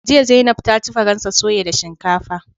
Jiya Zainab ta ci faransa soya da shinkafa